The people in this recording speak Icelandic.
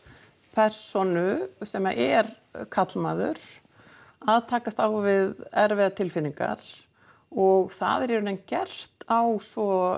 persónu sem er karlmaður að takast á við erfiðar tilfinningar og það er í raun gert á svo